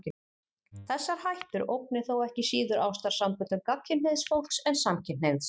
Þessar hættur ógni þó ekki síður ástarsamböndum gagnkynhneigðs fólks en samkynhneigðs.